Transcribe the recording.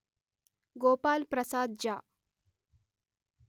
గోపాల్ ప్రసాద్ జ